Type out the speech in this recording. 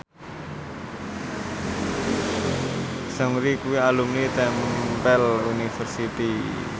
Seungri kuwi alumni Temple University